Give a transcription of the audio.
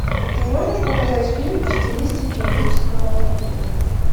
ты можешь показать фильм в стилистике эпического фэнтези